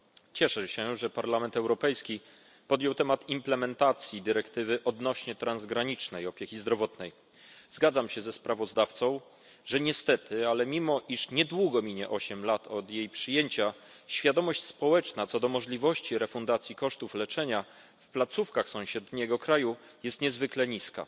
Cieszę się, że Parlament Europejski podjął temat implementacji dyrektywy odnośnie do transgranicznej opieki zdrowotnej. Zgadzam się ze sprawozdawcą, że niestety mimo iż niedługo minie osiem lat od jej przyjęcia świadomość społeczna co do możliwości refundacji kosztów leczenia w placówkach sąsiedniego kraju jest niezwykle niska.